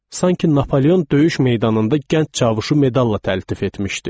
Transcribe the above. Sanki Napoleon döyüş meydanında gənc çavuşu medalla təltif etmişdi.